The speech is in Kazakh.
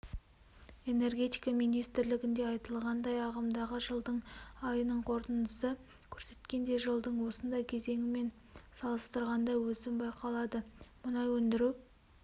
энергетика министрлігінде айтылғандай ағымдағы жылдың айының қорытындысы көрсеткендей жылдың осындай кезеңімен салыстырғанда өсім байқалады мұнай өндіру